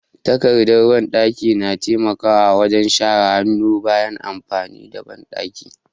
Takardar banɗaki na taimaka wajen share hannu bayan amfani da banɗaki.